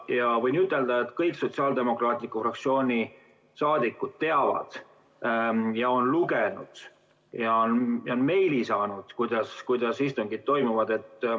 Ja võin ütelda, et kõik sotsiaaldemokraatide fraktsiooni saadikud teavad ja on lugenud ja meili saanud, kuidas istungid toimuvad.